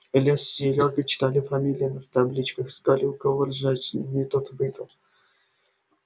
илья с серёгой читали фамилии на табличках искали у кого ржачней тот выиграл